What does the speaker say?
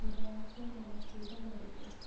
Murang'a kwĩna matunda marĩkũ?